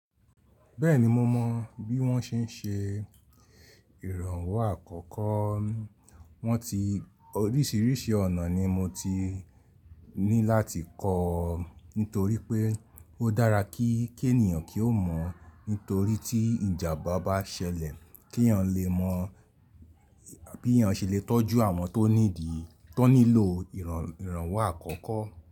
Bẹ́ẹ̀ni mo mọ bí wọ́n ṣe ń ṣe ìrànwọ́ àkọ́kọ́, wọ́n ti oríṣìíríṣìí ọ̀nà ni mo ti ní láti kọ́ nítorí pé ó dára kí ènìyàn kí ó mọ̀ nítorí tí ìjàmbá bá ṣẹlẹ̀ kí èèyàn lè mọ̀ bí èèyàn ṣe lè tọ́jú àwọn tó nídi tó nílò ìrànwọ́ àkọ́kọ́